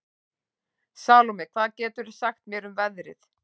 Salome, hvað geturðu sagt mér um veðrið?